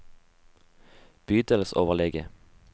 bydelsoverlege